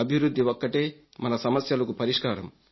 అభివృద్ధి ఒక్కటే మన సమస్యలకు పరిష్కారం